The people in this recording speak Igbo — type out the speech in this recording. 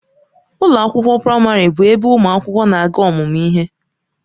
Ụlọ akwụkwọ praịmarị bụ ebe ụmụ akwụkwọ na-aga ọmụmụ ihe.